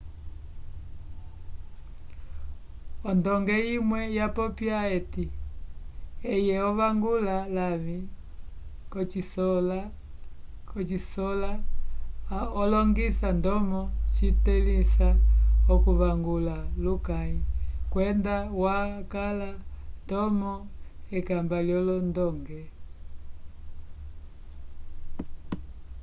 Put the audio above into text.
odonge umwe wapopya ati eye ovangula lavi kosikola olongisa ndomo citelisa okuvangula lukayi kwenda wakala ndomo ekamba lyo londonge